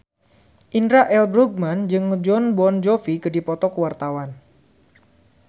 Indra L. Bruggman jeung Jon Bon Jovi keur dipoto ku wartawan